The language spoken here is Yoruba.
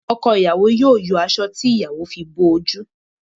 Ọkọ ìyàwó yóò yọ aṣọ tí ìyàwó fi bo oju